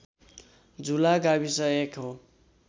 झुला गाविस एक हो